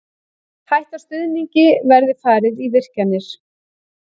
Hætta stuðningi verði farið í virkjanir